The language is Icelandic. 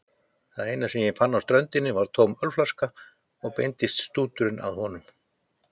Það eina sem hann fann á ströndinni var tóm ölflaska og beindist stúturinn að honum.